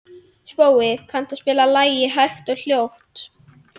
Spói, kanntu að spila lagið „Hægt og hljótt“?